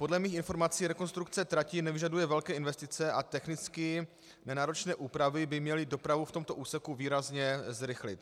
Podle mých informací rekonstrukce trati nevyžaduje velké investice a technicky nenáročné úpravy by měly dopravu v tomto úseku výrazně zrychlit.